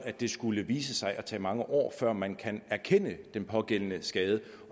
det skulle vise sig at tage mange år før man kan erkende den pågældende skade